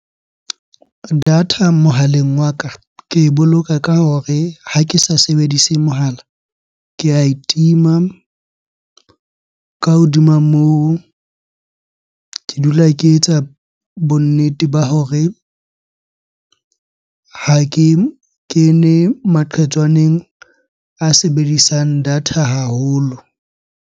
Data mohaleng wa ka ke e boloka ka hore ha ke sa sebedise mohala, ke ae tima. Ka hodima moo, ke dula ke etsa bonnete ba hore ha ke kene maqhetswaneng a sebedisang data haholo.